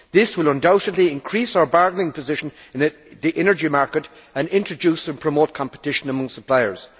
This will undoubtedly increase our bargaining position in the energy market and introduce and promote competition among suppliers.